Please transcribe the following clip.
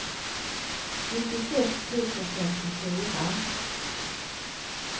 nittiosex tusen femtiofyra